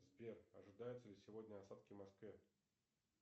сбер ожидаются ли сегодня осадки в москве